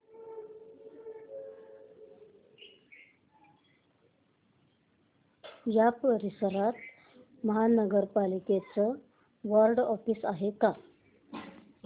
या परिसरात महानगर पालिकेचं वॉर्ड ऑफिस आहे का